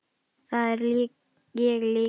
Það er ég líka